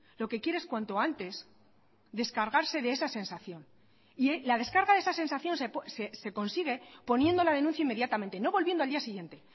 lo que quiere es cuanto antes descargarse de esa sensación y la descarga de esa sensación se consigue poniendo la denuncia inmediatamente no volviendo al día siguiente